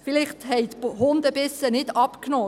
Vielleicht haben die Hundebisse nicht abgenommen;